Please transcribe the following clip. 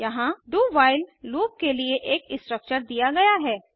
यहाँ do while loop के लिए एक स्ट्रक्चर दिया गया है